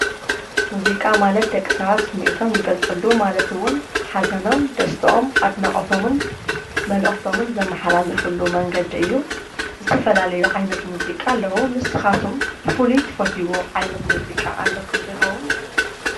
ሙዚቃ ማለት ደቂ ሰባት ስምዒቶም ዝገልፅሉ ማለት እውን ሓዘኖም ደስተኦም ኣድናቅቶምን መልእክቶምን ዘመሓላልፍሉ መንገዲ እዩ፡፡ ዝተፈላለዩ ዓይነት ሙዚቃ አለው፡፡ ንስካትኩም ከ ብፍሉይ እትፈትውዎ ዓይነት ሙዚቃ ኣለኩም ዶ?